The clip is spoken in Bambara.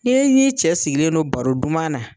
Ni e n'i cɛ sigilen do baro duman na